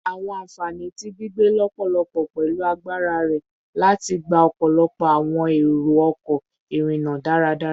Awọn anfani ti gbigbe lọpọlọpọ pẹlu agbara rẹ lati gba ọpọlọpọ awọn ero-ọkọ irinna daradara